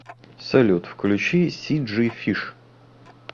салют включи си джи фиш